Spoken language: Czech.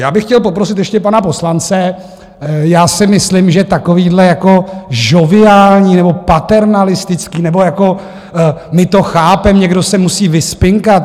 Já bych chtěl poprosit ještě pana poslance, já si myslím, že takovýhle jako žoviální nebo paternalistický nebo jako my to chápeme, někdo se musí vyspinkat...